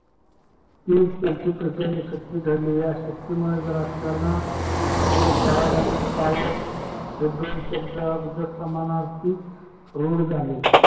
कि त्यांची प्राचार्यशक्ती ठरली या शक्तीमुळे राजकारणात शरद पवार आणि power यांनी दोन शब्द समानार्थी रूड झाले